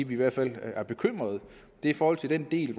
vi i hvert fald er bekymret er i forhold til den del